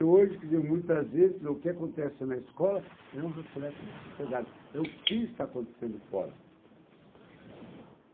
Então, hoje, quer dizer, muitas vezes, quer dizer, o que acontece na escola é um reflexo da sociedade, é o que está acontecendo fora.